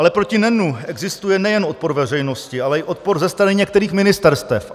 Ale proti NEN existuje nejen odpor veřejnosti, ale i odpor ze strany některých ministerstev.